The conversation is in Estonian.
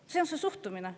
" Selline on see suhtumine.